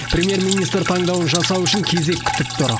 премьер министр таңдауын жасау үшін кезек күтіп тұр